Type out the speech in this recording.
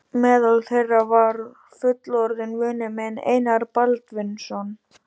Meðal þeirra var fullorðinn vinur minn, Einar Baldvinsson.